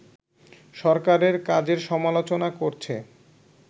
সরকারের কাজের সমালোচনা করছে